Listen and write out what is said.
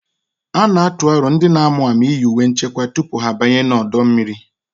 A na-atụ aro ndị na-amụ amụ iyi uwe nchekwa tupu ha abanye n'ọdọ mmiri